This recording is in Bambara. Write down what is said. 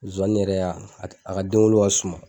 Zuwani yɛrɛ a a ka denwolo ka suma.